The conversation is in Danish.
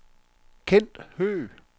Kent Høgh